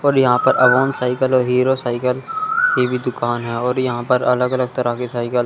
और यहां पर ऐवान साइकिल और हीरो साइकिल की भी दुकान है और यहां पर अलग-अलग तरह के साइकिल --